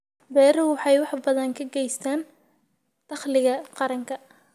Beeruhu waxay wax badan ka geystaan ??dakhliga qaranka.